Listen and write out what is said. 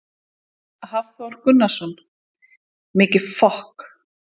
Hafþór Gunnarsson: Mikið fok?